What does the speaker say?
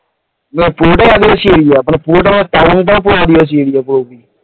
ধর পুরোটাই আদিবাসী area, পুরোটা মানে তাবাংটাও পুরো আদিবাসী area পুরোপুরি